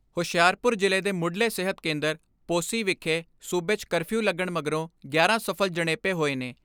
ਹੁਸ਼ਿਆਰਪੁਰ ਜ਼ਿਲ੍ਹੇ ਦੇ ਮੁੱਢਲੇ ਸਿਹਤ ਕੇਂਦਰ ਪੋਸੀ ਵਿਖੇ ਸੂਬੇ 'ਚ ਕਰਫਿਊ ਲੱਗਣ ਮਗਰੋਂ ਗਿਆਰਾਂ ਸਫਲ ਜਣੇਪੇ ਹੋਏ ਨੇ।